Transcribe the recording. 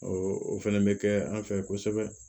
o fɛnɛ bɛ kɛ an fɛ kosɛbɛ